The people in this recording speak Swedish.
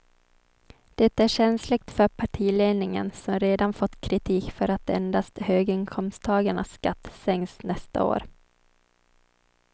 Det är känsligt för partiledningen som redan fått kritik för att endast höginkomsttagarnas skatter sänks nästa år.